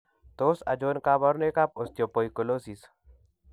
Tos achon kabarunaik ab Osteopoikilosis ?